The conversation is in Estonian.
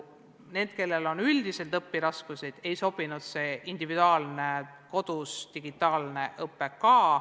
Neile, kellel on üldised õpiraskused, ei ole sobinud ka individuaalne kodune digitaalne õpe.